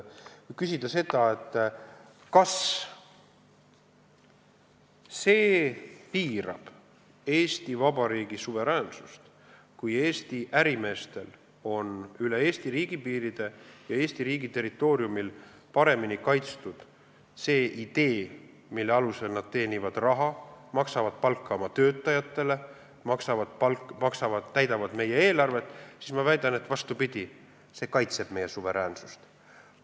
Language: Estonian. Kui küsida, kas see piirab Eesti Vabariigi suveräänsust, kui Eesti ärimeestel on üle Eesti riigi piiride ja Eesti riigi territooriumil paremini kaitstud see idee, mille alusel nad teenivad raha, maksavad palka oma töötajatele ja täidavad meie eelarvet, siis ma väidan, et see, vastupidi, kaitseb meie suveräänsust.